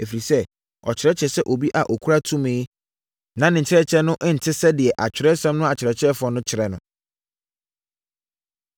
ɛfiri sɛ, ɔkyerɛkyerɛɛ sɛ obi a ɔkura tumi na ne nkyerɛkyerɛ no nte sɛ deɛ Atwerɛsɛm no akyerɛkyerɛfoɔ no kyerɛ no.